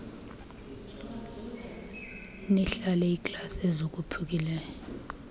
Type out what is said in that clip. nilahle iiglasi ezophukileyo